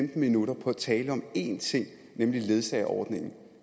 minutter på at tale om én ting nemlig ledsageordningen